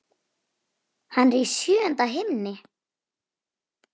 Hann er í sjöunda himni.